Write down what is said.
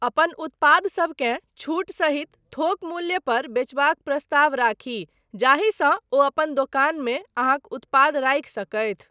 अपन उत्पादसबकेँ छूट सहित थोक मूल्य पर बेचबाक प्रस्ताव राखी जाहिसँ ओ अपन दोकानमे अहाँक उत्पाद राखि सकथि।